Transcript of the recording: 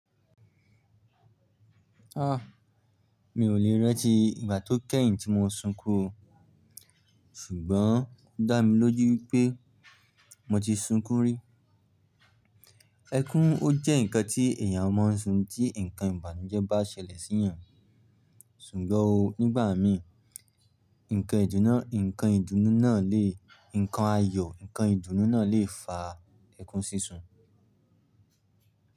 Mi ò le rantì ìgbà tó kẹ́yìn tí mo sunkún o. Ṣùgbọ́n ó dá mi lójú pé mo ti sunkún rí. Ẹkún ó jẹ́ nǹkan tí èyàn ma ń sun tí nǹkan ìbànújẹ́ bá ṣẹlẹ̀ sí yàn. Ṣùgbọ́n o, nígbà mi, nǹkan ìdùnnú náà lè, nǹkan ayọ̀, nǹkan ìdùnnú náà lè fa ẹkún sísun.